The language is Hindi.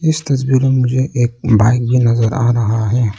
इस तस्वीर में मुझे एक बाइक भी नजर आ रहा है।